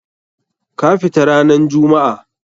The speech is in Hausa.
Ka fita ranan jummu'a!